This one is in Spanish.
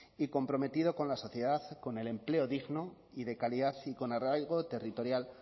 y comprometido con la sociedad con el empleo digno y de calidad y con arraigo territorial